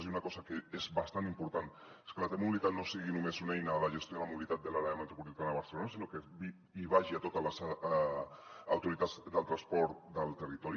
i una cosa que és bastant important és que la t mobilitat no sigui només una eina de la gestió de la mobilitat de l’àrea metropolitana de barcelona sinó que vagi a totes les autoritats del transport del territori